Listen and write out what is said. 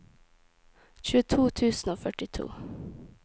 tjueto tusen og førtito